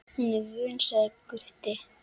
Hún er vön, sagði Gutti.